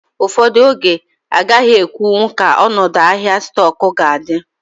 Ụfọdụ oge, agaghị ekwu nwu ka ọnọdụ ahịa stoku ga adi